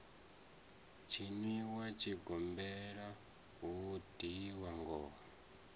tshiniwa tshigombela hu lidzwa ngoma